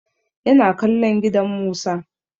Ya na kallon gidan Musa.